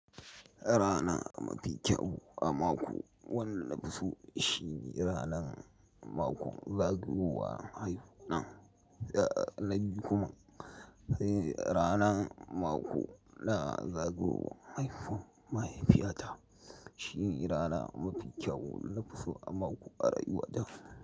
Rana mafi kyau a mako wanda na fi so shine ranan mako zagayowar haifu na. Na biyu kuma, sai ranan mako na zagayowar haifu mahaifiyata shine rana mafi kyau na fi so a mako a rayuwa ta.